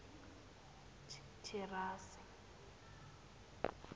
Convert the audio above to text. thirase